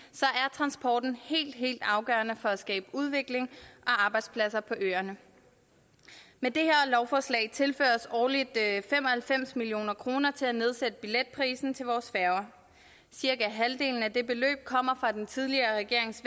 transporten helt helt afgørende for at skabe udvikling og arbejdspladser på øerne med det her lovforslag tilføres årligt fem og halvfems million kroner til at nedsætte billetprisen til vores færger cirka halvdelen af det beløb kommer fra den tidligere regerings